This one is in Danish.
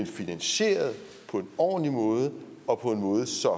finansieret på en ordentlig måde og på en måde så